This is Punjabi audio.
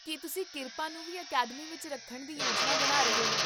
ਕੀ ਤੁਸੀਂ ਕਿਰਪਾ ਨੂੰ ਵੀ ਅਕੈਡਮੀ ਵਿੱਚ ਰੱਖਣ ਦੀ ਯੋਜਨਾ ਬਣਾ ਰਹੇ ਹੋ?